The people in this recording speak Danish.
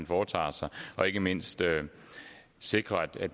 foretager sig og ikke mindst sikrer og jeg